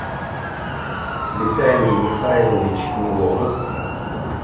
виталий михайлович нелогов